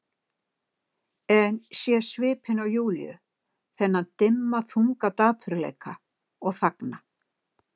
En sé svipinn á Júlíu, þennan dimma þunga dapurleika, og þagna.